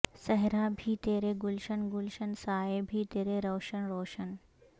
صحرا بھی ترے گلشن گلشن سایے بھی ترے روشن روشن